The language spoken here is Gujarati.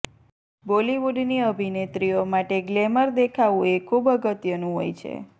બોલિવૂડની અભિનેત્રીઓ માટે ગ્લેમર દેખાવું એ ખુબ અગત્યનું હોય છે